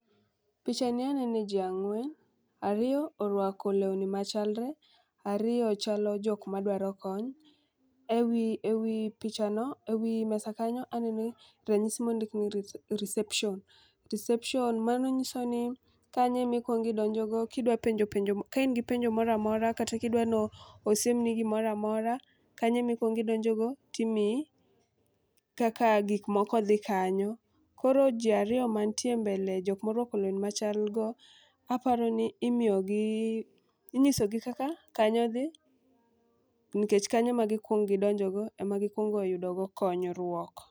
Picha ni anene jii ang'wen ariyo orwako lewni machalre ariyo chalo jok madwaro kony. Ewi ewi pichano ewi mesa kanyo aneno ranyisi mondik ni reception reception .Mano nyiso ni kanyo emikuongi donjo go kidwa penjo penj moramora ka in gi penjo moramora kata kidwano siemni gimoramora kanyo emi kuong idonjo go timiyi kaka gik moko dhi kanyo . Koro jii ariyo mantie mbele jok morwako lewni machal go aparo ni imiyo gi inyiso gi kaka kanyo dhi nikech, kanyo e ma gikuong gidonjo go ema gikuongo yudo go konyruok.